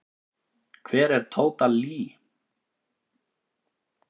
Hver er Tóta Lee?